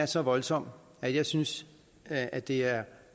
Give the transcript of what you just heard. så voldsomme at jeg synes at det er